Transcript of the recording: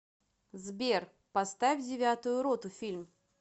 сбер поставь девятую роту фильм